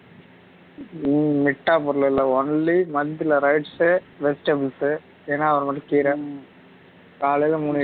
உம் விட்டா பொருளல்ல only month ல rice உ vegetables உ என்னக்காவது ஒன்னுமட்டும் கீரை கலைல மூனு இட்லி